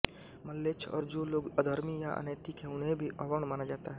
म्लेच्छ और जो लोग अधर्मी या अनैतिक हैं उन्हें भी अवर्ण माना जाता है